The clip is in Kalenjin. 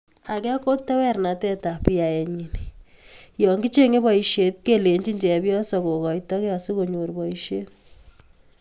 Age ko tewernatetab yaenyi yokichenge boisiet kelechini chepyoso kokoito kei asikonyor boisiet